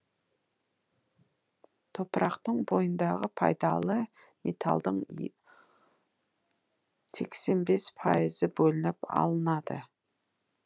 топырақтың бойындағы пайдалы металдың сексен бес пайызы бөлініп алынады